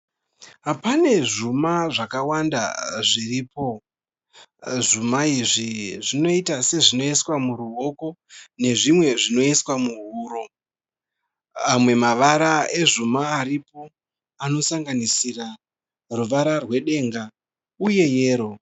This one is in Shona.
Pane zvuma zvakawanda zviripo. Zvuma izvi zvinoita sezvinoiswa muruoko nezvimwe zvinoiswa muhuro. Amwe mavara ezvuma aripo anosanganisira ruvara rwedenga uye yero